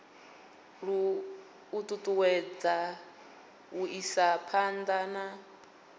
ṱuṱuwedza u isa phanḓa na